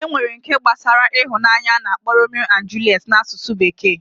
Enwere nke gbasara ịhụnanya ana akpo Romeo and Juliet na asusu bekee